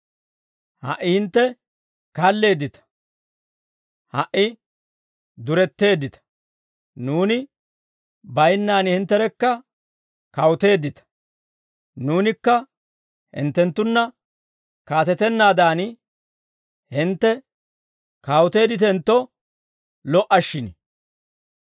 Ha"i hintte kalleeddita. Ha"i duretteeddita. Nuuni baynnaan hintterekka kawuteeddita. Nuunikka hinttenttunna kaatetanaadan, hintte kawuteedditentto lo"a shin.